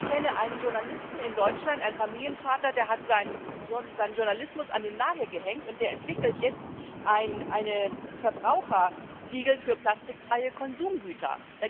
Ich kenne einen Journalisten in Deutschland einen Familienvater der hat seinen Journalismus an den Nagel gehängt und entwickelt jetzt ein Verbrauchersiegel für plastikfreie Konsumgüter.